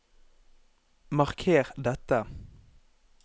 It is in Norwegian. Marker dette